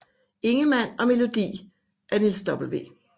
Ingemann og melodi af Niels W